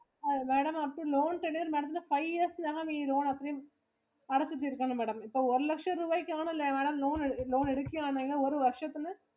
Madamloans ഇല് five years ഇലാണ് ഈ loan അത്രെയും അടച്ചു തീർക്കണം Madam. ഇപ്പൊ ഒരു ലക്ഷം രുപയ്ക്കാണല്ലോ Madam loan എടുക്കുവാണെങ്കിൽ ഒരു വര്ഷത്തില്.